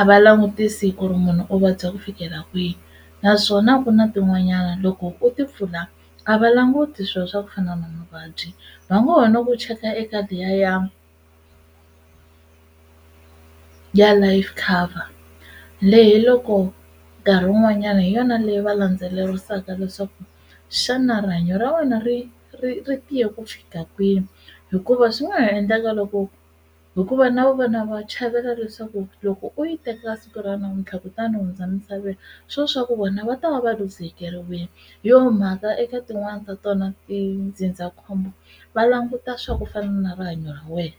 a va langutisi ku ri munhu u vabya ku fikela kwihi naswona a ku na tin'wanyana loko u timpfula a va languti swilo swa ku fana na mavabyi va ngo ho no ku cheka eka liya ya ya life cover leyi loko nkarhi wun'wanyani hi yona leyi va landzelerisaka leswaku xana rihanyo ra wena ri ri ri tiye ku fika kwini hikuva swi nga ha endleka loko hikuva na vona va chavela leswaku loko u yi teka siku ra namuntlha kutani hundza misaveni swo swa ku vona va ta va va luzekeriwa hi yo mhaka eka tin'wani ta tona tindzindzakhombo va languta swa ku fana na rihanyo ra wena.